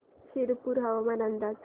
शिरपूर हवामान अंदाज